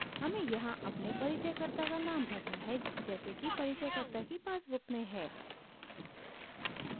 हमें यहाँ अपने परिचयकर्ता का नाम भरना है जैसे कि परिचयकर्ता की पासबुक में है